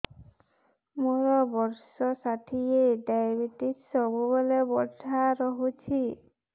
ମୋର ବର୍ଷ ଷାଠିଏ ଡାଏବେଟିସ ସବୁବେଳ ବଢ଼ା ରହୁଛି